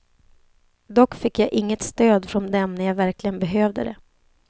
Dock fick jag inget stöd från dem när jag verkligen behövde det.